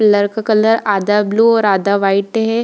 Pillar का colour आधा blue और आधा व्हाइट है ।